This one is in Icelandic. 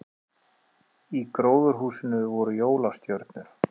Í gróðurhúsinu voru jólastjörnur